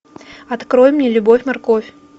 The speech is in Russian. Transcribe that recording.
открой мне любовь морковь